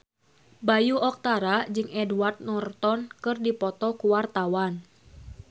Bayu Octara jeung Edward Norton keur dipoto ku wartawan